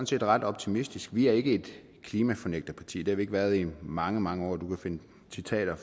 set ret optimistiske vi er ikke et klimafornægterparti det har vi ikke været i mange mange år du kan finde citater